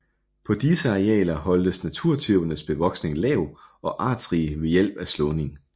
På disse arealer holdes naturtypernes bevoksning lav og artsrig ved hjælp af slåning